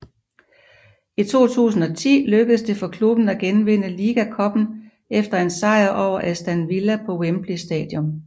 I 2010 lykkedes det for klubben at genvinde Liga Cuppen efter en sejr over Aston Villa på Wembley Stadium